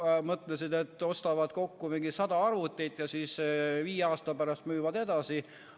Nad mõtlesid, et ostavad kokku sada arvutit ja siis viie aasta pärast müüvad edasi.